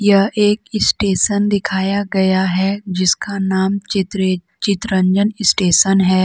यह एक स्टेशन दिखाया गया है जिसका नाम चित्र चितरंजन स्टेशन है।